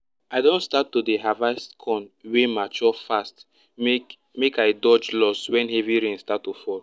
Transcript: i don start to dey harvest corn wey mature fast make make i dodge loss wen heavy rain start to fall